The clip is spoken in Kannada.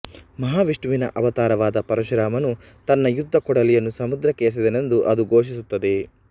ಮಹಾವಿಷ್ಣುವಿನ ಅವತಾರವಾದ ಪರಶುರಾಮನು ತನ್ನ ಯುದ್ಧ ಕೊಡಲಿಯನ್ನು ಸಮುದ್ರಕ್ಕೆ ಎಸೆದನೆಂದು ಅದು ಘೋಷಿಸುತ್ತದೆ